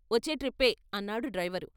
వచ్చే ట్రిప్పే అన్నాడు డ్రైవరు.